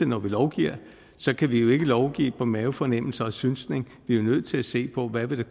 når vi lovgiver kan vi jo ikke lovgive på mavefornemmelser og synsning vi er jo nødt til at se på hvad den